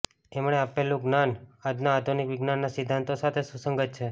એમણે આપેલું જ્ઞાન આજના આધુનિક વિજ્ઞાનના સિદ્ધાંતો સાથે સુસંગત છે